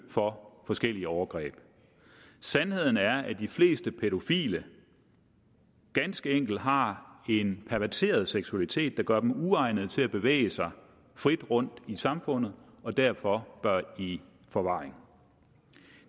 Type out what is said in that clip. for forskellige overgreb sandheden er at de fleste pædofile ganske enkelt har en perverteret seksualitet der gør dem uegnede til at bevæge sig frit rundt i samfundet og derfor bør de i forvaring